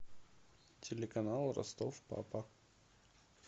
телеканал ростов папа